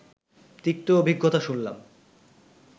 তিক্ত অভিজ্ঞতা শুনলাম